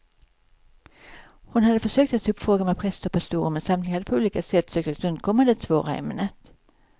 Hon hade försökt att ta upp frågan med präster och pastorer, men samtliga hade på olika sätt sökt att undkomma det svåra ämnet.